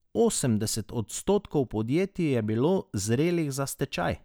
Osemdeset odstotkov podjetij je bilo zrelih za stečaj.